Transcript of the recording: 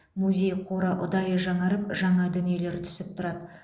музей қоры ұдайы жаңарып жаңа дүниелер түсіп тұрады